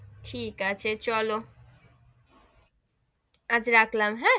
ঠিক আছে চলো, আচ্ছা রাখলাম হেঁ,